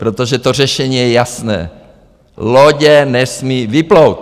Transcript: Protože to řešení je jasné: lodě nesmí vyplout!